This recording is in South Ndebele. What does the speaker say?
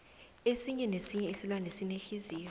esinye nesinye isilwane sinenhliziyo